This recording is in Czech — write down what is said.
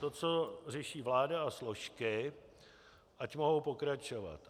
To, co řeší vláda, a složky ať mohou pokračovat.